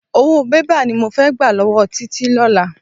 Owó bébà ni mo fẹ́ gbà lọ́wọ́ Títí lọ́la.